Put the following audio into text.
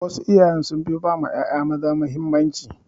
Wasu iyaye sun fi ba ƴaƴa maza mahimmanci.